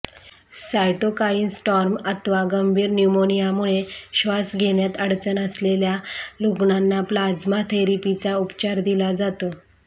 cytokine storm अथवा गंभीर न्यूमोनियामुळे श्वास घेण्यात अडचण असलेल्या रुग्णांना प्लाझ्मा थेरपीचा उपचार दिला जातो